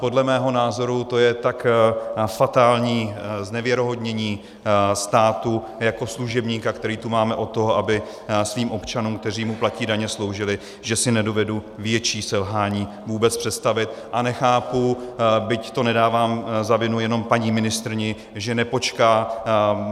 Podle mého názoru to je tak fatální znevěrohodnění státu jako služebníka, který tu máme od toho, aby svým občanům, kteří mu platí daně, sloužil, že si nedovedu větší selhání vůbec představit, a nechápu, byť to nedávám za vinu jenom paní ministryni, že nepočká.